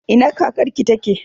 Ina kakar ki take?